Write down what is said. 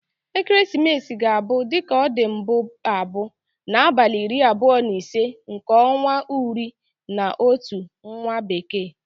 Ekeresimesi ga-abu, dika o di mbu abu, na abali iri abuo na ise nke onwa uri na Otu nwa bekee.